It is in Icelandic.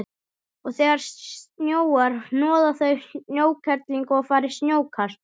Og þegar snjóar hnoða þau snjókerlingu og fara í snjókast.